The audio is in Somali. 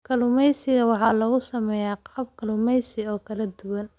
Kalluumeysiga waxaa lagu sameeyaa qalab kalluumeysi oo kala duwan.